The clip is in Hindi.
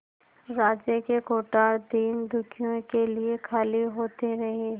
राज्य के कोठार दीनदुखियों के लिए खाली होते रहे